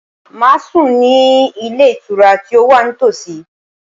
Màá sùn ní Ilé Ìtura tí ó wà ní tòsí